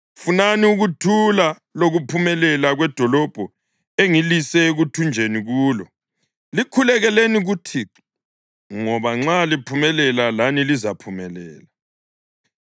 Funani ukuthula lokuphumelela kwedolobho engilise ekuthunjweni kulo. Likhulekeleni kuThixo, ngoba nxa liphumelela lani lizaphumelela.”